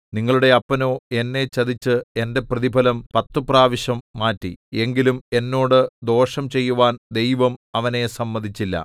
നിങ്ങളുടെ അപ്പനോ എന്നെ ചതിച്ച് എന്റെ പ്രതിഫലം പത്തു പ്രാവശ്യം മാറ്റി എങ്കിലും എന്നോട് ദോഷം ചെയ്യുവാൻ ദൈവം അവനെ സമ്മതിച്ചില്ല